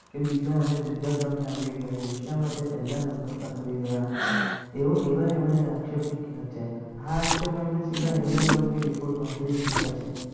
કે બીજા અને ત્રીજા ક્રમે આવી ગયા શા માટે પહેલા નંબર પર આવી ગયા એવો એવા એમણે આક્ષેપ મૂક્યા છેઆ આક્ષેપ એમને hydenburg જ લીધા છે.